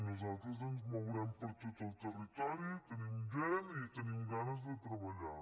nosaltres ens mourem per tot el territori tenim gent i tenim ganes de treballar